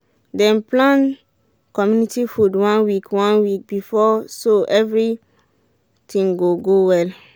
dem plan community food one week one week before so everything go go well